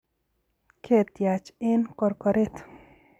ketiach eng korkoret